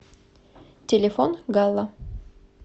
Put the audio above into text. телефон галла